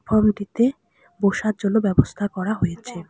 লবিটিতে বসার জন্য ব্যবস্থা করা হয়েছে।